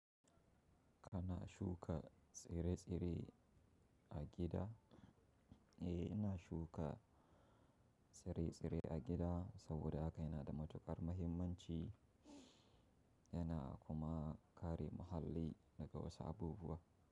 Kana shuka tsire-tsire, a gida? Eh ina shuka tsire-tsire a gida saboda haka yana da matukar muhimmanci yana kuma kare muhalli daga wasu abubuwa.